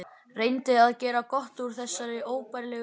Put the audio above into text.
Reyndi að gera gott úr þessari óbærilegu hremmingu.